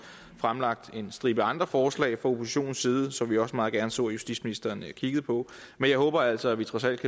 fremlagt en stribe andre forslag fra oppositionens side som vi også meget gerne så justitsministeren kiggede på men jeg håber altså at vi trods alt